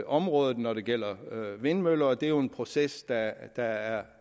området når det gælder vindmøller og det er jo en proces der er